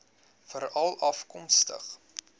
veralafkomstig